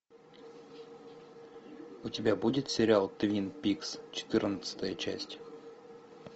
у тебя будет сериал твин пикс четырнадцатая часть